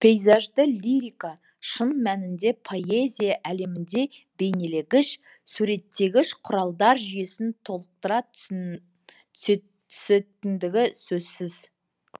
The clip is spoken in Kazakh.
пейзажды лирика шын мәнінде поэзия әлемінде бейнелегіш суреттегіш құралдар жүйесін толықтыра түсетіндігі сөзсіз